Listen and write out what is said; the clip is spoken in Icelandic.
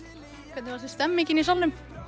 hvernig fannst þér stemmingin í salnum